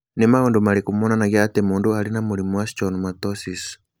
Nĩ maũndũ marĩkũ monanagia atĩ mũndũ arĩ na mũrimũ wa Schwannomatosis?